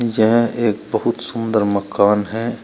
यह एक बहुत सुंदर मकान है।